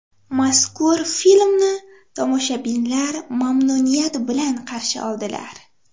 Mazkur filmni tomoshabinlar mamnuniyat bilan qarshi oldilar.